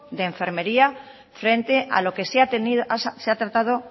de enfermería frente a lo que se ha tratado